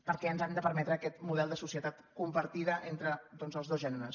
perquè ens han de permetre aquest model de societat compartida entre doncs els dos gèneres